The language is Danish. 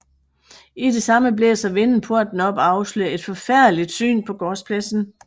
I det samme blæser vinden porten op og afslører et forfærdeligt syn på gårdspladsen